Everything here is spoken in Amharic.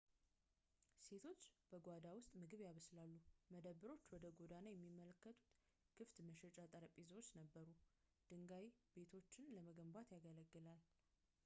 ሴቶች በጓሮው ውስጥ ምግብ ያበስላሉ መደብሮች ወደ ጎዳና የሚመለከቱ ክፍት መሸጫ ጠረጴዛዎች ነበሩ ድንጋይ ቤቶችን ለመገንባት ያገለግል ነበር